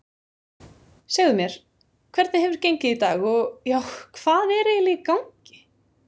Segðu mér, hvernig hefur gengið í dag og já, hvað er eiginlega í gangi?